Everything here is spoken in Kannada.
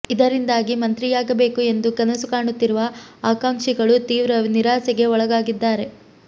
ಇದರಿಂದಾಗಿ ಮಂತ್ರಿಯಾಗಬೇಕು ಎಂದು ಕನಸು ಕಾಣುತ್ತಿರುವ ಆಕಾಂಕ್ಷಿಗಳು ತೀವ್ರ ನಿರಾಸೆಗೆ ಒಳಗಾಗಿದ್ದಾರೆ